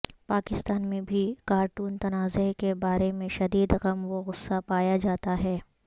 پاکستان میں بھی کارٹون تنازعہ کے بارے میں شدید غم و غصہ پایا جاتا ہے